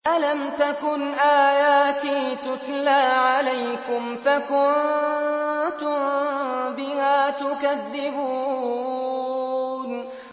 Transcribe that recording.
أَلَمْ تَكُنْ آيَاتِي تُتْلَىٰ عَلَيْكُمْ فَكُنتُم بِهَا تُكَذِّبُونَ